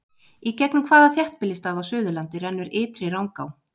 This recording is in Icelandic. Í gegnum hvaða þéttbýlisstað á Suðurlandi rennur Ytri Rangá?